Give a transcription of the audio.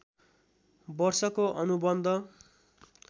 वर्षको अनुबन्ध